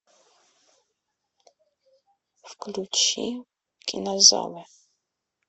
включи кинозалы